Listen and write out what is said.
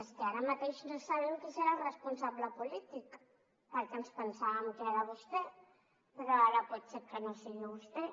és que ara mateix no sabem qui en serà el responsable polític perquè ens pensàvem que era vostè però ara pot ser que no sigui vostè